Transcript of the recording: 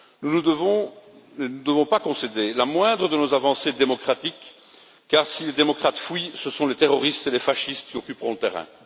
Nous ne devons pas concéder la moindre de nos avancées démocratiques, car si les démocrates fuient, ce sont les terroristes et les fascistes qui occuperont le terrain.